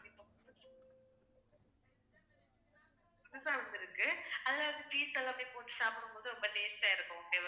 புதுசா வந்திருக்கு அதுல வந்து cheese எல்லாமே போட்டு சாப்பிடும் போது ரொம்ப taste ஆ இருக்கும் okay வா ma'am